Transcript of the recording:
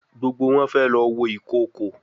Gbógbó wón fé ló wọ Ìkokò.